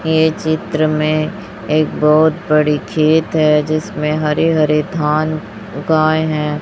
ये चित्र में एक बहुत बड़ी खेत है जिसमें हरे हरे धन उगाए हैं।